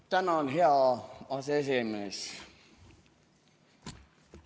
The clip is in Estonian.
Tänan, hea aseesimees!